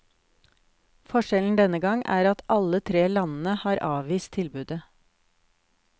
Forskjellen denne gang er at alle tre landene har avvist tilbudet.